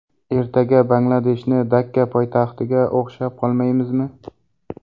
Ertaga Bangladeshni Dakka poytaxtiga o‘xshab qolmaymizmi?!